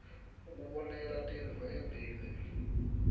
kubonela tintfo embili